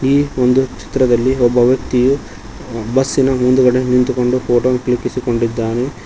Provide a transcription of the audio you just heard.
ಈ ಒಂದು ಚಿತ್ರದಲ್ಲಿ ಒಬ್ಬ ವ್ಯಕ್ತಿಯು ಬಸ್ಸಿನ ಮುಂದ್ಗಡೆ ನಿಂತುಕೊಂಡು ಫೋಟೋ ಕ್ಲಿಕ್ಕಿಸಿಕೊಂಡಿದ್ದಾನೆ.